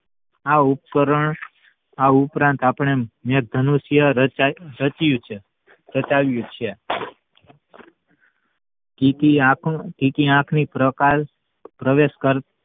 આ ઉપકરણ આ ઉપરાંત આપડે મેઘદનુષ્ય રચ્યું છે રચાવ્યું છે કિકી આખો કિકી ની પ્રકાશ પ્રવેશ કરતી